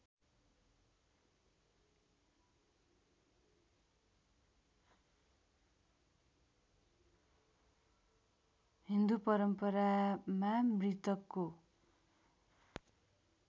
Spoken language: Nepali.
हिन्दु परम्परामा मृतकको